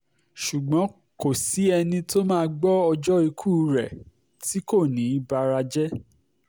ṣùgbọ́n kò sí ẹni tó máa gbọ́ ọjọ́ ikú rẹ̀ tí kò ní í bara jẹ́